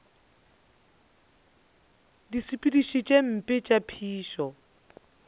disepediši tše mpe tša phišo